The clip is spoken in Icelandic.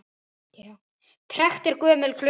Trekkt er gömul klukka.